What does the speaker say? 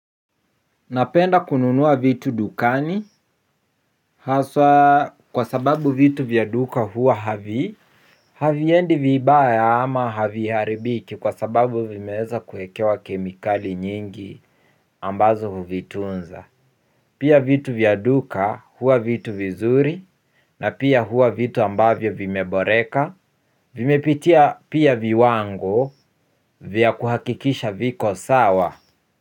Napenda kununua vitu dukani. Haswa kwa sababu vitu vya duka huwa havi haviendi vibaya ama haviharibiki kwa sababu vimeeza kuekewa kemikali nyingi ambazo huvitunza. Pia vitu vya duka huwa vitu vizuri na pia huwa vitu ambavyo vimeboreka. Vimepitia pia viwango vya kuhakikisha viko sawa.